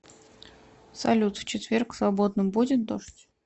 салют в четверг в свободном будет дождь